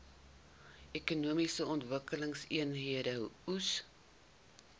ekonomiese ontwikkelingseenhede eoes